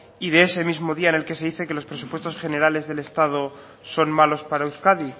y de ese mismo día en el que se dice que los presupuestos generales del estado son malos para euskadi